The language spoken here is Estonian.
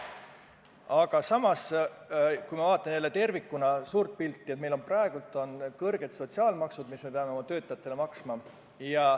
Samas, kui ma vaatan tervikuna suurt pilti, siis näen, et meil on praegu kõrged sotsiaalmaksud, mis me peame oma töötajate pealt maksma.